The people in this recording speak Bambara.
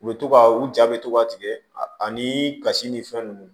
U bɛ to ka u ja bɛ to ka tigɛ ani kasi ni fɛn ninnu